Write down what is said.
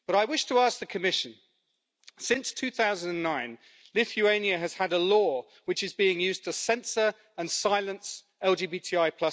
But I wish to ask the Commission since 2009 Lithuania has had a law which is being used to censor and silence LGBTI.